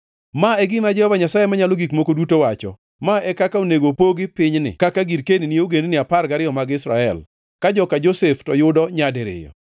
Ma e gima Jehova Nyasaye Manyalo Gik Moko Duto wacho: “Ma e kaka onego pogi pinyni kaka girkeni ni ogendini apar gariyo mag Israel, ka joka Josef to yudo nyadiriyo.